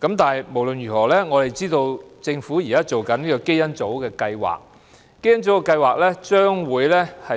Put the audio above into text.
但無論如何，我們知道政府現時正進行香港基因組計劃，該計劃將會